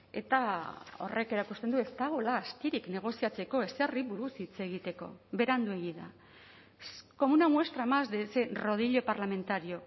eta horrek erakusten du ez dagoela astirik negoziatzeko ezerri buruz hitz egiteko beranduegi da como una muestra más de ese rodillo parlamentario